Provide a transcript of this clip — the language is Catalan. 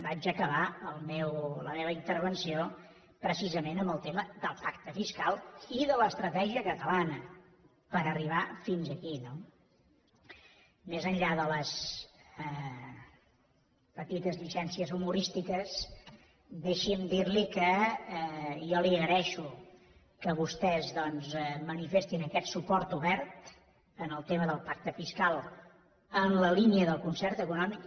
vaig acabar la meva intervenció precisament amb el tema del pacte fiscal i de l’estratègia catalana per arribar fins aquí no més enllà de les petites llicències humorístiques deixi’m dir li que jo li agraeixo que vostès doncs manifestin aquest suport obert en el tema del pacte fiscal en la línia del concert econòmic